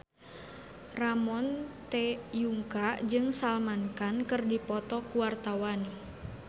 Ramon T. Yungka jeung Salman Khan keur dipoto ku wartawan